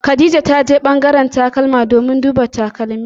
Khadija ta je ɓangaren takalma domin duba takalmi.